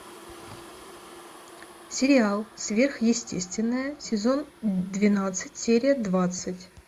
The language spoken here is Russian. сериал сверхъестественное сезон двенадцать серия двадцать